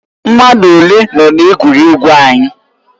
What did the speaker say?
Mmadụ ole nọ na egwuregwu anyị?